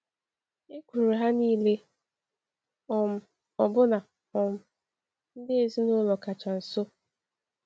Ekwuru ha niile, um ọbụna um ndị ezinụlọ kacha nso.